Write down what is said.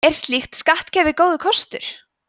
er slíkt skattkerfi góður kostur